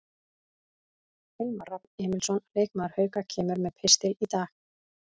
Hilmar Rafn Emilsson, leikmaður Hauka, kemur með pistil í dag.